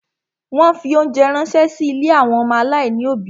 Wọ́n fi óńjẹ ránṣẹ́ sí ilé àwọn ọmọ aláìní òbí.